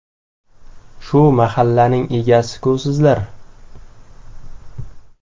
Shu mahallaning egasi-ku sizlar!